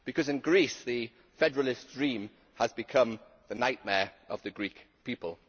In Greece, the federalist dream has become the nightmare of the Greek people.